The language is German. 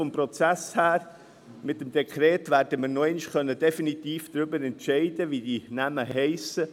Vom Prozess her werden wir mit dem Dekret noch einmal definitiv darüber entscheiden können, wie die Namen lauten.